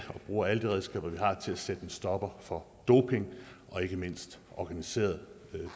bruger alle de redskaber vi har til at sætte en stopper for doping og ikke mindst organiseret